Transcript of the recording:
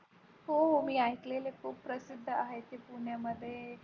हो हो मी ऐकलेले आहे खूप प्रसिद्ध आहे ते पुण्यामध्ये.